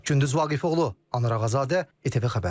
Gündüz Vaqifoğlu, Anar Ağazadə, ITV Xəbər.